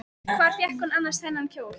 Hvar fékk hún annars þennan kjól?